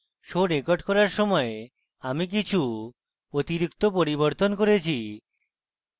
show record করার সময় আমি কিছু অতিরিক্ত পরিবর্তন করেছি